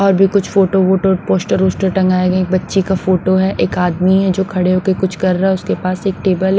और भी कुछ फोटो फोटो पोस्टर वस्टर टंगाए गए एक बच्ची का फोटो है एक आदमी है जो खड़े होकर कुछ कर रहा है उसके पास एक टेबल है।